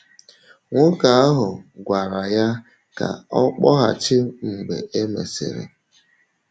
Nwoke ahụ gwara ya ka ọ kpọghachi mgbe e mesịrị.